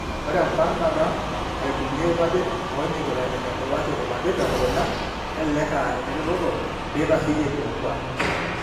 Ore embarnata oaibung'ie irpapit oonyikita enebulaki irpapit telukunya kelelek aa eneretoto peitasheyie ilokuak.